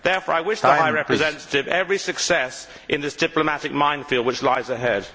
Therefore, I wish the High Representative every success in this diplomatic minefield which lies ahead.